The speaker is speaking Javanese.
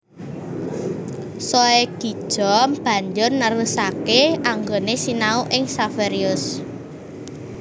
Soegija banjur nerusaké anggoné sinau ing Xaverius